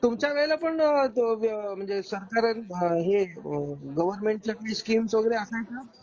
तुमच्या वेळेला पण म्हणजे सरकारच हे गवर्नमेंट च्या स्कीम्स वगैरे असायच्या?